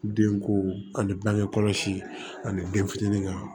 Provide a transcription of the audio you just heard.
Den ko ani bangekɔlɔsi ani den fitinin ka